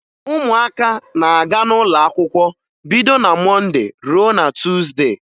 Ụmụaka na-aga n'ụlọakwụkwọ bido na Mọnde ruo na Tuuzde